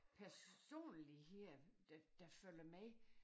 Personlighed der der følger med